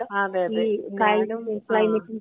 അതെ അതെ അതെ ആ ആ.